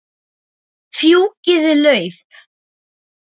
Fjúkiði lauf.